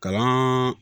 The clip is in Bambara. Kalan